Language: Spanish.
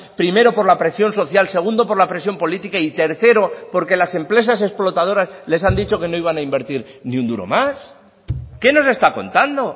primero por la presión social segundo por la presión política y tercero porque las empresas explotadoras les han dicho que no iban a invertir ni un duro más qué nos está contando